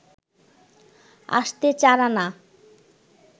আসতে চার আনা